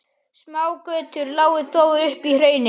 Smágötur lágu þó upp í hraunið.